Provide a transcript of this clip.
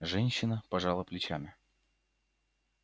женщина пожала плечами